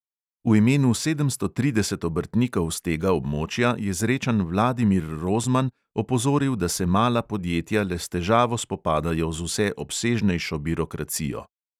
V imenu sedemsto trideset obrtnikov s tega območja je zrečan vladimir rozman opozoril, da se mala podjetja le s težavo spopadajo z vse obsežnejšo birokracijo.